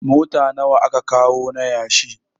Mota nawa aka kawo na yashi?